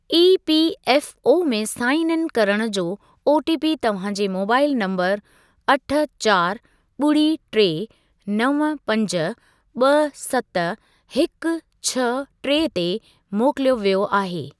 EPFO में sign in करणु जो ओटीपी तव्हां जे मोबाइल नंबरु अठ चारि ॿुड़ी टे नव पंज ब॒ सत हिकु छह टे ते मोकिलियो वियो आहे।